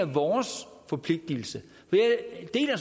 vores forpligtigelse